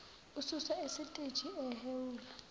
ususwa esiteji ehhewula